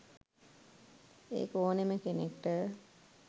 ඒක ඕනෙම කෙනෙක්ට